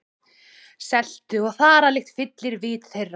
Seltu- og þaralykt fyllir vit þeirra.